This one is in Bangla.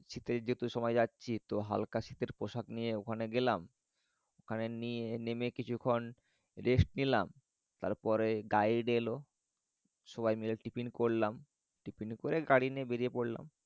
শীতের যেহেতু সময়ে যাচ্ছি তো হাল্কা শীতের পোশাক নিয়ে ওখানে গেলাম ওখানে নেমে কিছুক্ষণ rest নিলাম তারপরে guide এলো সবাই মিলে tiffin করলাম। tiffin এর পরে গাড়ি নিয়ে বেড়িয়ে পরলাম।